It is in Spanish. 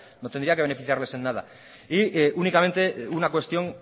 no tendría que beneficiarles en nada y únicamente una cuestión